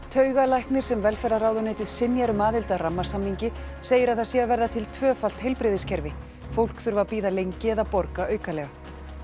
taugalæknir sem velferðarráðuneytið synjar um aðild að rammasamningi segir að það sé að verða til tvöfalt heilbrigðiskerfi fólk þurfi að bíða lengi eða borga aukalega